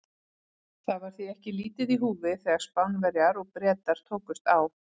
Það var því ekki lítið í húfi þegar Spánverjar og Bretar tókust á.